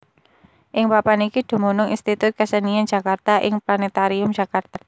Ing papan iki dumunung Institut Kesenian Jakarta lan Planètarium Jakarta